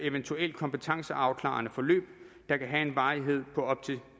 eventuelt kompetenceafklarende forløb der kan have en varighed på op til